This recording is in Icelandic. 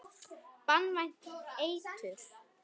Banvænt eitur.